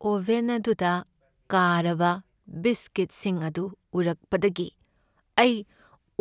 oven ꯑꯗꯨꯗ ꯀꯥꯔꯕ ꯕꯤꯁꯀꯤꯠꯁꯤꯡ ꯑꯗꯨ ꯎꯔꯛꯄꯗꯒꯤ ꯑꯩ